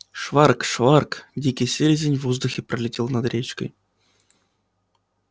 шварк-шварк дикий селезень в воздухе пролетел над речкой